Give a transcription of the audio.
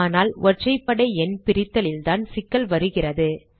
ஆனால் ஒற்றைப்படை எண் பிரித்தலில்தான் சிக்கல் வருகிறது